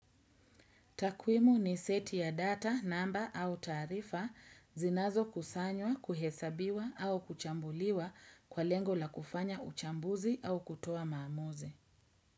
Takwimu ni seti ya data, namba au taarifa zinazo kusanywa, kuhesabiwa au kuchambuliwa kwa lengo la kufanya uchambuzi au kutoa maamuzi.